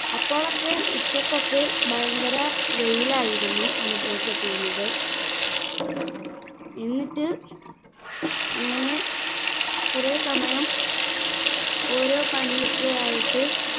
അപ്പോളൊക്കെ ഉച്ചക്കൊക്കെ ഭയങ്കര വെയിലായിരുന്നു അനുഭവപ്പെട്ടിരുന്നത് എന്നിട്ട് അങ്ങനെ കുറെ സമയം ഓരോ പണിയൊക്കെ ആയിട്ട്